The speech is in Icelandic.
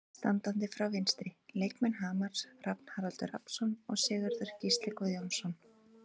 Standandi frá vinstri: Leikmenn Hamars, Rafn Haraldur Rafnsson og Sigurður Gísli Guðjónsson.